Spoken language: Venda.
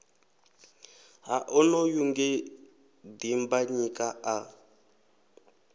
ha onoyu nge dimbanyika a